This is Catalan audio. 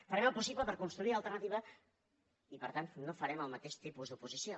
farem el possible per construir alternativa i per tant no farem el mateix tipus d’oposició